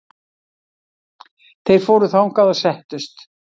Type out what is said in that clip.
Þeir fóru þangað og settust.